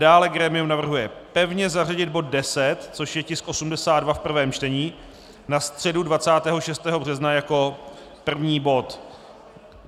Dále grémium navrhuje pevně zařadit bod 10, což je tisk 82 v prvém čtení, na středu 26. března jako první bod.